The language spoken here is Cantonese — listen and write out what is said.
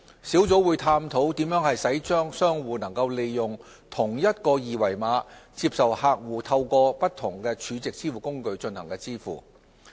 小組會探討如何使商戶能夠利用同一個二維碼，接受客戶透過不同儲值支付工具進行支付。